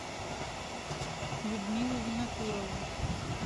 людмилу винокурову